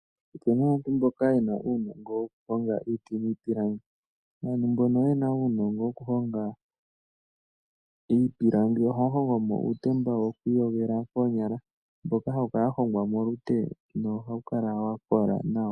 Opu na aantu mboka ye na uunongo wokuhonga iiti niipilangi. Aantu mbono ye na uunongo wokuhonga iipilangi ohaya hongo mo uutemba woku iyogela koonya mboka hawu kala wa hongwa molute nohawu kala wa kola nawa.